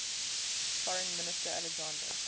foreign minister alexander